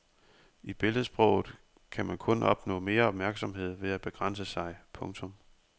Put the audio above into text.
I billedsproget kan man kun opnå mere opmærksomhed ved at begrænse sig. punktum